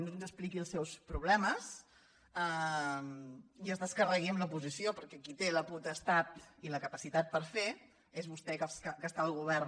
i no ens expliqui els seus problemes ni es descarregui en l’oposició perquè qui té la potestat i la capacitat per fer és vostè que està al govern